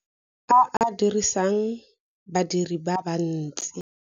A a dirisang badiri ba bantsi.